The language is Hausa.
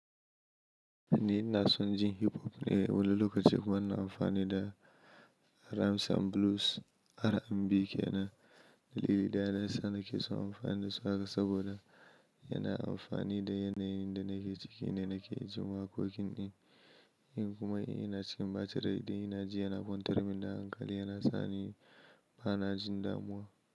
Ni ina son jin hip hop ne, wani lokaci kuma ina amfani da Rhymes and Blues R&B ke na dalili da yana sa nake son amfani da su haka saboda yana amfani da yanayin da nake ciki ne nake ji wakokin ɗin. In kuma in ina cikin bacin rai ina ji yana kwantar min da hankali yana sa ni ba na jin damuwa.